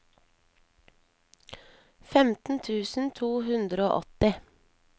femten tusen to hundre og åtti